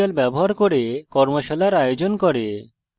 কথ্য tutorials ব্যবহার করে কর্মশালার আয়োজন করে